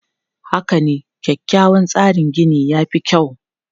Haka ne, kyakkyawan tsarin gini ya fi kyau.